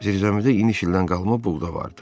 Zirzəmidə iniş ildən qalma buğda vardı.